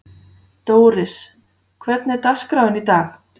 Dóris, hvernig er dagskráin í dag?